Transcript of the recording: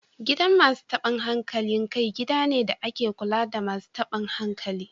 Gidan Masu tabun hankali kai gida ne da ake kula da Masu tabun hankali